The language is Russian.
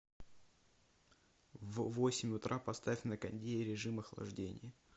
в восемь утра поставь на кондее в режим охлаждения